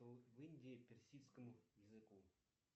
в индии персидскому языку